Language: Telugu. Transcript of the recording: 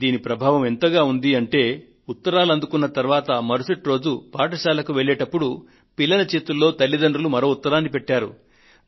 దీని ప్రభావం ఎంతగా ఉందంటే ఉత్తరాలు అందుకున్న తరువాత మరుసటి రోజు పాఠశాలకు వెళ్లేటప్పుడు పిల్లల చేతుల్లో తల్లితండ్రులు మరో ఉత్తరాన్ని పెట్టారు